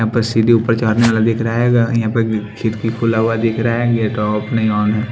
यहां पर सीधे ऊपर चढ़ने वाला दिख रहा है यहां पर खिटकी खुला हुआ दिख रहा है ये तो ऑफ नहीं ऑन है।